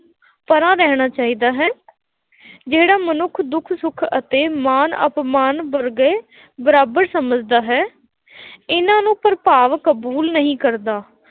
ਪਰ੍ਹਾਂ ਰਹਿਣਾ ਚਾਹੀਦਾ ਹੈ ਜਿਹੜਾ ਮਨੁੱਖ ਦੁੱਖ ਸੁੱਖ ਅਤੇ ਮਾਨ ਅਪਮਾਨ ਵਰਗੇ ਬਰਾਬਰ ਸਮਝਦਾ ਹੈ ਇਹਨਾ ਨੂੰ ਪ੍ਰਭਾਵ ਕਬੂਲ ਨਹੀਂ ਕਰਦਾ,